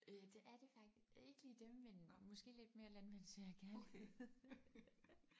Øh det er det faktisk ikke lige dem men måske lidt mere Landmænd søger kærlighed